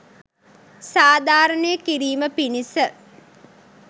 සාධාරණය කිරීම පිණිස